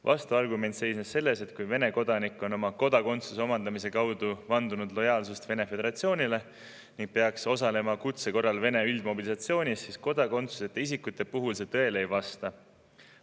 Vastuargument seisnes selles, et kui Vene kodanik on oma kodakondsuse omandamise kaudu vandunud lojaalsust Vene föderatsioonile ning peaks osalema kutse korral Venemaa üldmobilisatsioonis, siis kodakondsuseta isikute puhul see nii ei ole.